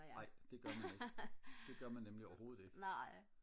nej det gør man ikke det gør man nemlig overhovedet ikke